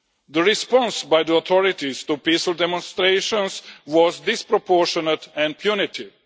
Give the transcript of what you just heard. The response by the authorities to peaceful demonstrations was disproportionate and punitive.